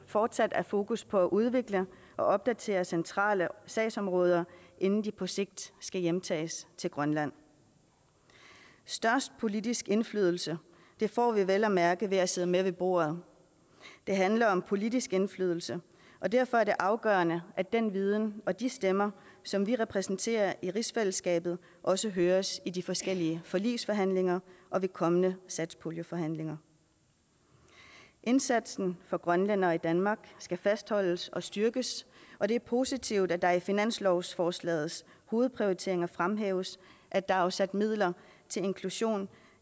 fortsat er fokus på at udvikle og opdatere centrale sagsområder inden de på sigt skal hjemtages til grønland størst politisk indflydelse får vi vel at mærke ved at sidde med ved bordet det handler om politisk indflydelse og derfor er det afgørende at den viden og de stemmer som vi repræsenterer i rigsfællesskabet også høres i de forskellige forligsforhandlinger og ved kommende satspuljeforhandlinger indsatsen for grønlændere i danmark skal fastholdes og styrkes og det er positivt at der i finanslovsforslagets hovedprioriteringer fremhæves at der er afsat midler til inklusion